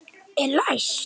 Er læst?